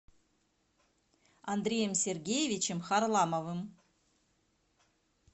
андреем сергеевичем харламовым